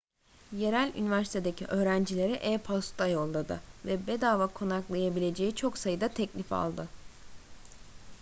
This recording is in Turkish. yerel üniversitedeki öğrencilere e-posta yolladı ve bedava konaklayabileceği çok sayıda teklif aldı